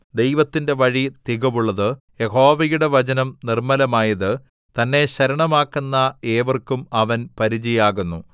ദൈവത്തിന്റെ വഴി തികവുള്ളത് യഹോവയുടെ വചനം നിർമ്മലമായത് തന്നെ ശരണമാക്കുന്ന ഏവർക്കും അവൻ പരിചയാകുന്നു